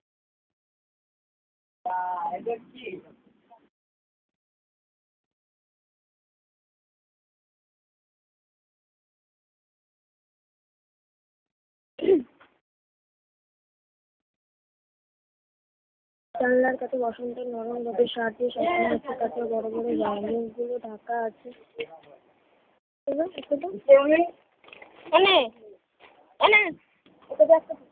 জানলার কাছে washroom টির নতুন রূপের সাহায্যে সাধারণ মানুষ এর কাছে ঢাকা আছে cold drinks এনে এনে